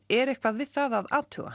er eitthvað við það að athuga